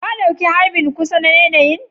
Ka ɗauki harbin kusa na yanayi'n?